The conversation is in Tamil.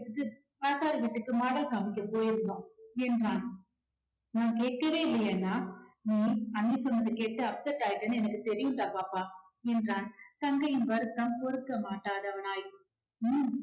வீட்டுக்கு model காமிக்க போயிருந்தோம் என்றான். நான் கேட்கவே இல்லையே அண்ணா. நீ அண்ணி சொன்னதை கேட்டு upset ஆயிட்டேன்னு எனக்கு தெரியும்டா பாப்பா என்றான். தங்கையின் வருத்தம் பொறுக்க மாட்டாதவனாய்